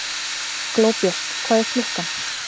Glóbjört, hvað er klukkan?